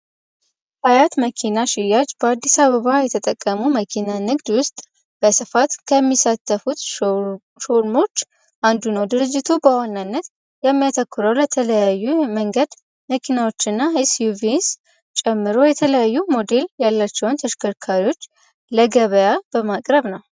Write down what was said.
አያት መኪና ሽያጅ በአስሰ አበባ የተጠቀሙ መኪና ንግድ ውስጥ በስፋት ከሚሳተፉት ሾርሞች አንዱ ነው ድርጅቱ በዋነነት የሚያተኩረው ለተለያዩ መንገድ መኪናዎች እና suቪs ጨምሮ የተለያዩ ሞዴል ያለቸውን ተሽከርካሪዎች ለገበያ በማቅረብ ነው።